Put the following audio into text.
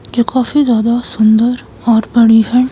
ये काफी ज्यादा सुंदर और बड़ी है।